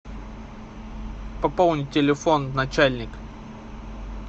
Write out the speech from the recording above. пополнить телефон начальник